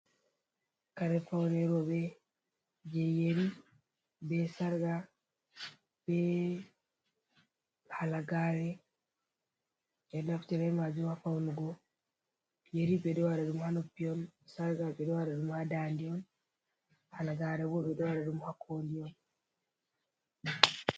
Kare pawne rowɓe, jey yeri, be sarka ,be halagaare, ɓe ɗo naftira be maajum ha fawnugo. Yeri ɓe ɗo waɗa ɗum haa noppi on, sarka ɓe ɗo waɗa ɗum haa ndaande on, halagaare ɓe ɗo waɗu ɗum haa kooli.